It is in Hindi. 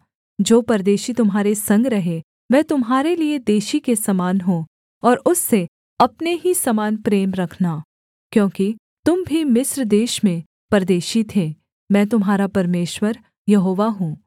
जो परदेशी तुम्हारे संग रहे वह तुम्हारे लिये देशी के समान हो और उससे अपने ही समान प्रेम रखना क्योंकि तुम भी मिस्र देश में परदेशी थे मैं तुम्हारा परमेश्वर यहोवा हूँ